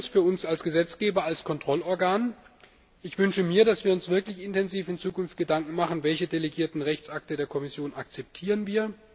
Für uns als Gesetzgeber, als Kontrollorgan wünsche ich mir, dass wir uns wirklich in Zukunft intensiv Gedanken machen Welche delegierten Rechtsakte der Kommission akzeptieren wir?